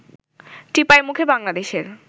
টিপাইমুখে বাংলাদেশের